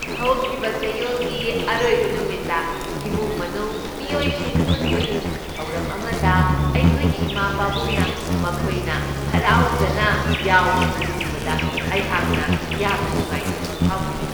ꯍꯧꯈꯤꯕ ꯆꯌꯣꯜꯒꯤ ꯑꯔꯣꯏꯕ ꯅꯨꯝꯤꯠꯇ ꯏꯃꯨꯡ ꯃꯅꯨꯡ ꯃꯤꯑꯣꯏꯁꯤꯡ ꯄꯨꯟꯕꯒꯤ ꯊꯧꯔꯝ ꯑꯃꯗ ꯑꯩꯈꯣꯏꯒꯤ ꯏꯃꯥ ꯄꯥꯕꯨꯡꯅ ꯃꯈꯣꯏꯅ ꯍꯔꯥꯎꯖꯅ ꯌꯥꯎꯕꯗꯨ ꯎꯕꯗ ꯑꯩꯍꯥꯛꯅ ꯌꯥꯝꯅ ꯅꯨꯡꯉꯥꯏꯖꯕ ꯐꯥꯎꯈꯤ꯫